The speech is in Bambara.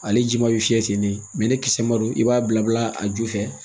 Ale ji ma bɛ fiyɛ ten de mɛ ni kisɛ ma don i b'a bila a ju fɛ